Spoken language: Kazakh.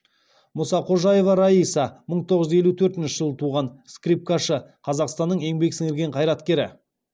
мұсақожаева райса мың тоғыз жүз елу төртінші жылы туған скрипкашы қазақстанның еңбек сіңірген қайраткері